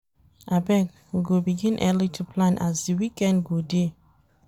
Abeg we go begin early to plan as di weekend go dey.